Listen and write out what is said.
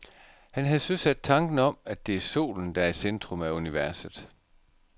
Han havde søsat tanken om, at det er solen, der er i centrum af universet.